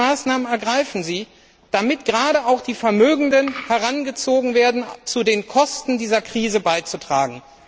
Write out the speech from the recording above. Welche Maßnahmen ergreifen Sie, damit gerade auch die Vermögenden herangezogen werden, etwas zu den Kosten dieser Krise beizusteuern.